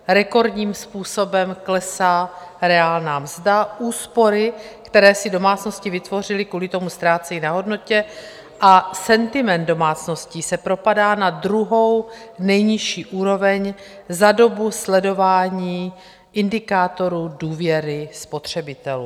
Rekordním způsobem klesá reálná mzda, úspory, které si domácnosti vytvořily, kvůli tomu ztrácejí na hodnotě a sentiment domácností se propadá na druhou nejnižší úroveň za dobu sledování indikátorů důvěry spotřebitelů.